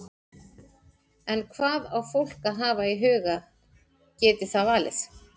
En hvað á fólk að hafa í huga geti það valið?